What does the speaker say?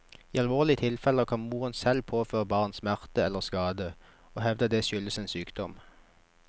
I alvorlige tilfeller kan moren selv påføre barna smerte eller skade, og hevde at det skyldes en sykdom.